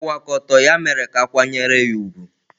Ịkwụwa aka ọtọ ya mere ka a kwanyere ya ùgwù.